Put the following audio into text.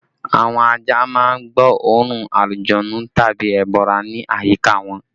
Àwọn ajá má ń gbọ́ oòrùn alujọ̀nnú tàbí ẹbọra ní àyíká wọn